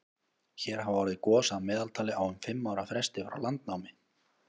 hér hafa orðið gos að meðaltali á um fimm ára fresti frá landnámi